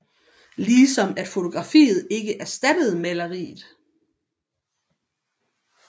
Ligesom at fotografiet ikke erstattede maleriet